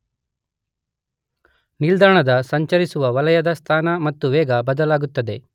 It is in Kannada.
ನಿಲ್ದಾಣದ ಸಂಚರಿಸುವ ವಲಯದ ಸ್ಥಾನ ಮತ್ತು ವೇಗ ಬದಲಾಗುತ್ತದೆ